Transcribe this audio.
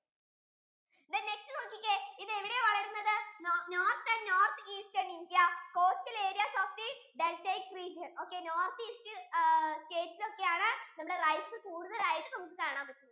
then next നോക്കിക്കേ ഇത് എവിടെയാ വളരുന്നത് North and North EasternIndiacoastal areas of the deltaic region okay North East ആ നമ്മുടെ rice കൂടുതൽ ആയിട്ടു നമ്മുക്ക് കാണാൻ പറ്റുന്നത്